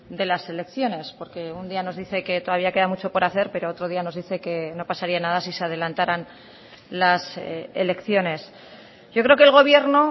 de las elecciones porque un día nos dice que todavía queda mucho por hacer pero otro día nos dice que no pasaría nada si se adelantaran las elecciones yo creo que el gobierno